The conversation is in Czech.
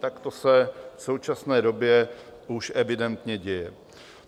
Tak to se v současné době už evidentně děje.